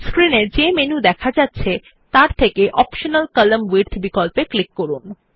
screen এ যে menu দেখা যাচ্ছে তাতে অপ্টিমাল কলাম্ন উইডথ বিকল্পে ক্লিক করুন